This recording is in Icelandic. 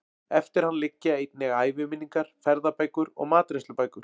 Eftir hann liggja einnig æviminningar, ferðabækur og matreiðslubækur.